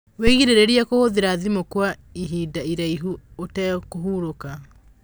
wĩgirĩrĩrie kuhuthira thimu kw aihinda iraihu utekũhũrũka